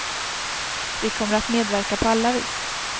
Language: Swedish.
Vi kommer att medverka på alla vis.